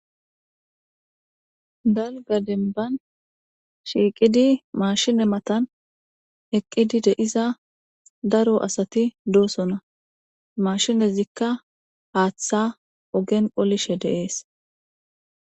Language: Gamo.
Dalga denban shiiqidi maashine matan eqqidi deiza daro asati doosona mashinezikka haaththa ogen qolishe deees.